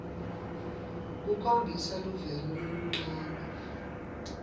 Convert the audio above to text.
khombisa luvelo loluncane